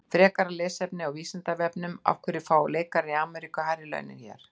Frekara lesefni á Vísindavefnum: Af hverju fá leikarar í Ameríku hærri laun en hér?